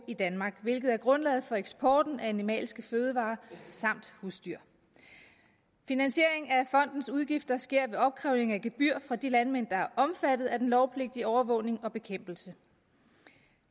i danmark hvilket er grundlaget for eksporten af animalske fødevarer samt husdyr finansieringen af fondens udgifter sker ved opkrævning af gebyrer fra de landmænd der er omfattet af den lovpligtige overvågning og bekæmpelse